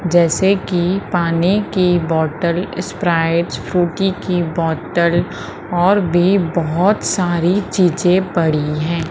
जैसे की पानी की बोतल स्प्राइट फ्रूटी की बोतल और भी बहोत सारी चीजें पड़ी है।